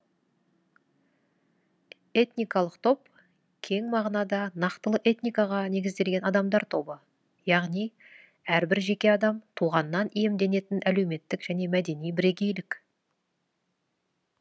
этникалық топ кең мағынада нақтылы этникаға негізделген адамдар тобы яғни әрбір жеке адам туғаннан иемденетін әлеуметтік және мәдени бірегейлік